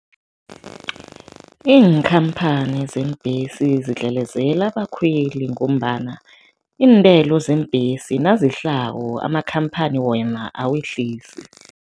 Iinkhamphani zeembhesi zidlelezela abakhweli ngombana iintelo zeembhesi nazehlako, amakhamphani wona awehlisi.